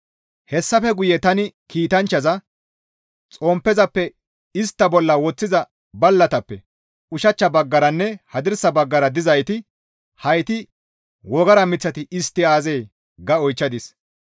Hessafe guye tani kiitanchchaza, «Xomppezappe istta bolla woththiza ballatappe ushachcha baggaranne hadirsa baggara dizayti hayti wogara miththati istti aazee?» ga oychchadis.